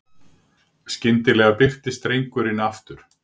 Skyndilega birtist drengurinn aftur.